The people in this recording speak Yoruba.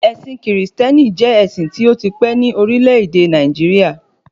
Ẹ̀sìn kìrìsìtẹ́nì jẹ́ ẹ̀sìn tí ó ti pẹ́ ní orílẹ̀-èdè Nàìjíríà